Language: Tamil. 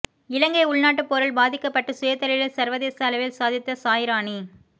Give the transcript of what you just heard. இலங்கை உள்நாட்டுப் போரில் பாதிக்கப்பட்டு சுயதொழிலில் சர்வதேச அளவில் சாதித்த சாய்ராணி